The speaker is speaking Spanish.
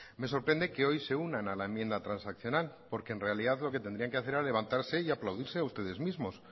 me sorprende que hoy se unan a la enmienda transaccional porque en realidad lo que tendrían que hacer era levantarse y aplaudirse a ustedes mismos